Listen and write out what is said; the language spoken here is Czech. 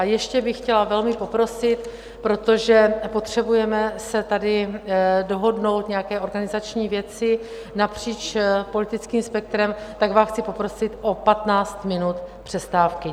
A ještě bych chtěla velmi poprosit, protože potřebujeme si tady dohodnout nějaké organizační věci napříč politickým spektrem, tak vás chci poprosit o 15 minut přestávky.